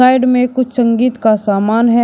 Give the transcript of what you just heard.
Side में कुछ संगीत का सामान है।